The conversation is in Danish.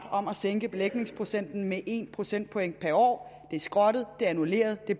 om at sænke belægningsprocenten med en procentpoint per år er skrottet er annulleret og